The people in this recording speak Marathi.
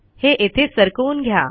हे येथे सरकवून घ्या